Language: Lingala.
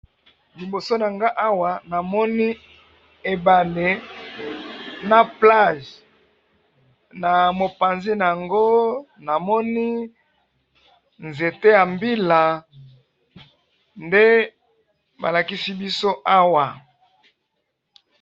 liboso nanga awa na moni ebale na plage namopanzi nago na moni zente ya mbila nde ba lakisi biso awa